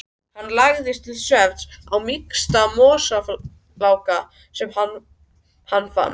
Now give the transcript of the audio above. Hann lagðist til svefns á mýksta mosafláka sem hann fann.